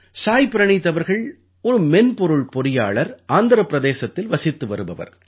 சாய் பிரணீத் அவர்கள் ஒரு மென்பொருள் பொறியாளர் ஆந்திரப் பிரதேசத்தில் வசித்து வருபவர்